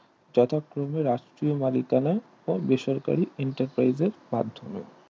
যথাক্রমে রাষ্ট্রীয় মালিকানা বেসরকারি Enterprise এর মাধ্যমে